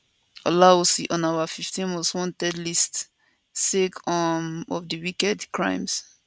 olawusi on our 15 most wanted list sake um of di wicked crimes